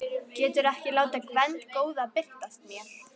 Geturðu ekki látið Gvend góða birtast mér?